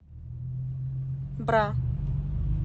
бра